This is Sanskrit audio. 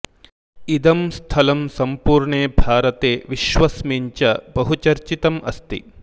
इदं स्थलं सम्पूर्णे भारते विश्वस्मिन् च बहुचर्चितम् अस्ति